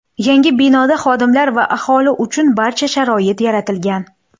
Yangi binoda xodimlar va aholi uchun barcha sharoit yaratilgan.